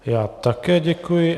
Já také děkuji.